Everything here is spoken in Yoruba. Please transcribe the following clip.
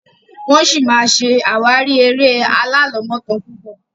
wón sí ṣe àwárí èrè Alalomotan púpọ